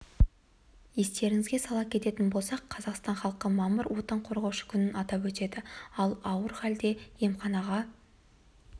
естеріңізге сала кететін болсақ қазақстан халқы мамыр отан қорғаушы күнін атап өтеді ал ауыр халде емханаха